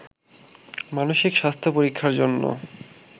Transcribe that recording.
মানসিক স্বাস্থ্য পরীক্ষার জন্য